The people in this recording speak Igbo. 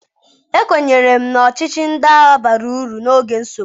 Ekwenyere m na ọchịchị ndị agha bara uru n'oge nsogbu.